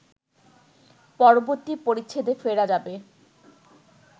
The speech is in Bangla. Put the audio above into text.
পরবর্তী পরিচ্ছেদে ফেরা যাবে